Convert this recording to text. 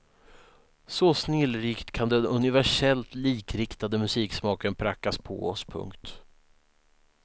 Så snillrikt kan den universellt likriktade musiksmaken prackas på oss. punkt